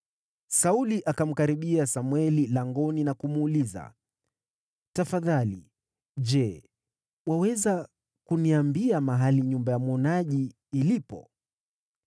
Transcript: Sauli akamkaribia Samweli langoni na kumuuliza, “Tafadhali, je, waweza kuniambia mahali nyumba ya mwonaji ilipo?”